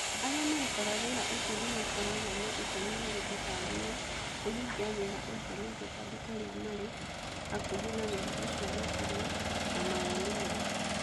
Arĩa marutaga wĩra ũcio nĩ makoragwo na itemi harĩ kũbanga na kũhingia wĩra ũcio nĩguo andũ arĩa marĩ hakuhĩ na wĩra ũcio makorũo na mawoni mega.